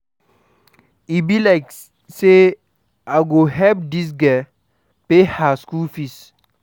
E be like sey I go help dis girl pay her skool fees.